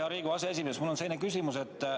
Hea Riigikogu aseesimees, mul on selline küsimus.